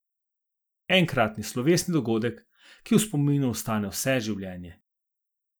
Enkratni, slovesni dogodek, ki v spominu ostane vse življenje.